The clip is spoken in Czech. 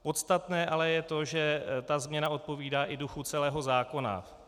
Podstatné ale je to, že ta změna odpovídá i duchu celého zákona.